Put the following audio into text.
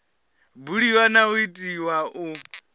buliwa na u itiwa u